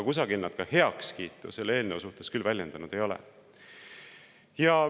Aga heakskiitu nad selle eelnõu suhtes küll kusagil väljendanud ei ole.